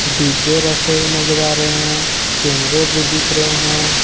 डिब्बे रखे हुए नजर आ रहे हैं कैमरे भी दिख रहे हैं।